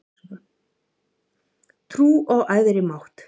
Trú á æðri mátt